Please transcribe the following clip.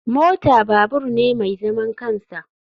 Mota babur ne mai zaman kansa.